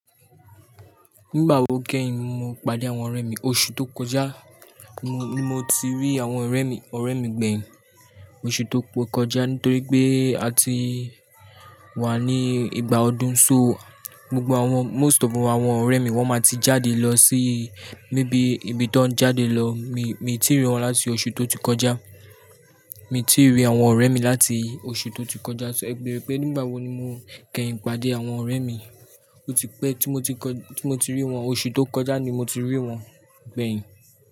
Nígbà wo kẹ́yin mo pade àwọn ọ̀rẹ́ mi? Oṣù tó kọjá ni mo ti rí àwọn ọ̀rẹ́ mi, ọ̀rẹ́ mi gbẹ̀yìn. Oṣù tó kọjá nítorí pé a ti wà ní ìgbà ọdún so gbogbo àwọn most of àwọn ọ̀rẹ́ mi wọ́n máa ti jáde lọ sí maybe ibi tó ń jáde lọ mi, mi ti rí wọn láti oṣù tó ti kọjá. Mi ti rí àwọn ọ̀rẹ́ mi láti oṣù tó ti kọjá, so ẹ ebere pé nígbà wo ni mo kẹ́yin pàdé àwọn ọ̀rẹ́ mi. Ó ti pẹ́ tí mo ti kọ, tí mo ti rí wọn oṣù tó kọjá ni mo ti rí wọn gbẹ̀yìn.